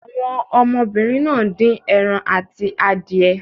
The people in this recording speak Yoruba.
Àwọn ọmọbìnrin náà dín ẹran àti adìẹ.